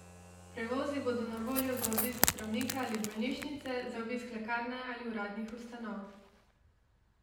Prevozi bodo na voljo za obisk zdravnika ali bolnišnice, za obisk lekarne ali uradnih ustanov.